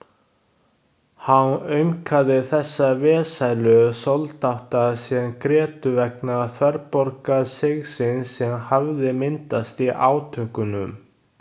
Hán aumkaði þessa vesælu soldáta sem grétu vegna þverbogasigsins sem hafði myndast í átökunum.